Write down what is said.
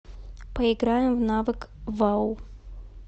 поиграем в навык вау